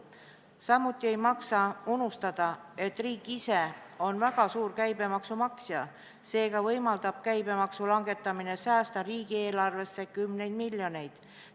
Samuti ei maksa unustada, et riik ise on väga suur käibemaksu maksja, seega võimaldab käibemaksu langetamine säästa riigieelarves kümneid miljoneid.